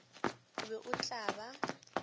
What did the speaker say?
o be o tla ba